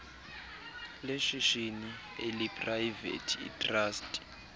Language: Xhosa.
leshishini eliprayivethi itrasti